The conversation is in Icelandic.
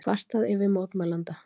Kvartað yfir mótmælanda